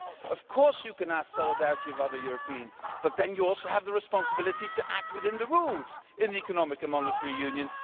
Of course, you can ask solidarity of other Europeans, but then you also have the responsibility to act within the rules in the economic and monetary union.